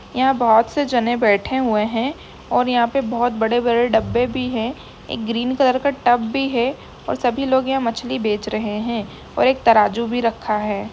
यहाॅं बोहोत से जने बैठे हुऐ हैं और यहाॅं पे बोहोत बड़े बड़े डब्बे भी हैं। एक ग्रीन कलर का टब भी है और सभी लोग यहाॅं मछली बेच रहे हैं और एक तराजू भी रखा है।